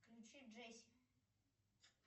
включи джесси